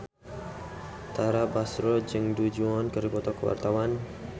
Tara Basro jeung Du Juan keur dipoto ku wartawan